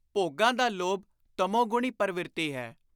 ਭੋਗਾਂ ਦਾ ਲੋਭ ਤਮੋਗਣੀ ਪਰਵਿਰਤੀ ਹੈ।